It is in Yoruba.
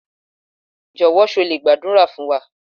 Jọ̀wọ́ ṣé o lè gbàdúrà fún wa?